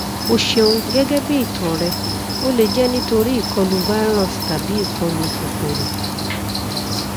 o ṣeun gẹgẹbi itan rẹ o le jẹ nitori ikọlu virus tabi ikọlù kòkòrò